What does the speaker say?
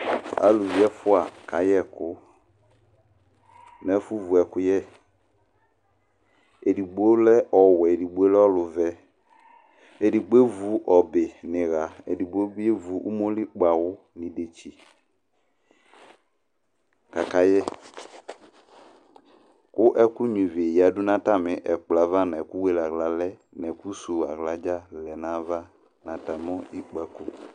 Aluvi ɛfua kayɛkʋ n'ɛfʋwuɛkʋyɛ Edigbo lɛ ɔwɛ, edigbo lɛ ɔlʋvɛ, edigbo evu ɔbɛ n'iɣa, edigbo ni evu umoli kpawʋ n'idetsi k'akayɛ kʋ ɛkʋ gnua ivi ɣadu n'atami ɛkplɔ yɛ ava n'ɛkʋ wele aɣla lɛ, n'ɛkʋ suwu aɣla dzaa lɛ n'ayava n'tami ikpsko